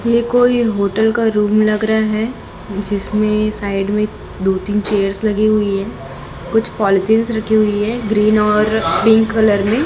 यह कोई होटल का रूम लग रहा है जिसमें साइड में दो तीन चेयर्स लगी हुई है कुछ पॉलिथीनस रखी हुई है ग्रीन और पिंक कलर में।